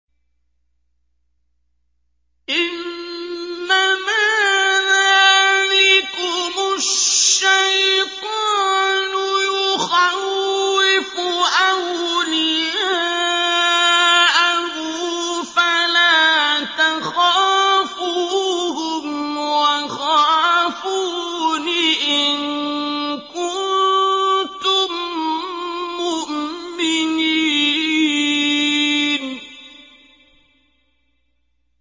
إِنَّمَا ذَٰلِكُمُ الشَّيْطَانُ يُخَوِّفُ أَوْلِيَاءَهُ فَلَا تَخَافُوهُمْ وَخَافُونِ إِن كُنتُم مُّؤْمِنِينَ